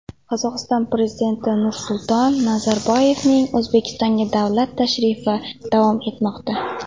Qozog‘iston Prezidenti Nursulton Nazarboyevning O‘zbekistonga davlat tashrifi davom etmoqda.